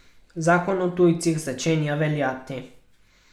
Zakon o tujcih začenja veljati.